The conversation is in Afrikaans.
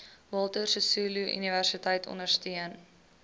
walter sisuluuniversiteit ondersteun